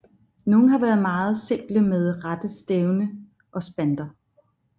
Nogle har været meget simple med rette stævne og spanter